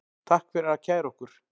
Takk fyrir að kæra okkur